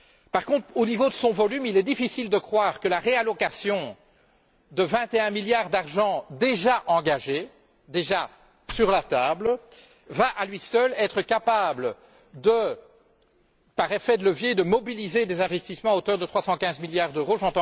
Par contre, au niveau de son volume, il est difficile de croire que la réallocation de 21 milliards d'euros déjà engagés, déjà sur la table, va à elle seule être capable, par un effet de levier, de mobiliser des investissements à hauteur de 315 milliards d'euros.